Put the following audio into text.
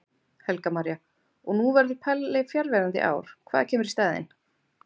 Helga María: Og nú verður Palli fjarverandi í ár, hvað kemur í staðinn?